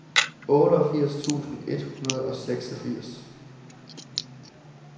otteogfirs tusind et hundrede og seksogfirs